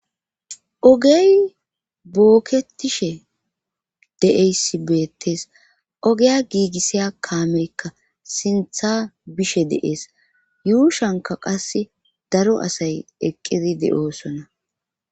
ogey booketishe de7eysi beettes ogeya giigissiya kaameykka sintha bishe deees yuushanka qas daro asay eqqidi de7oosona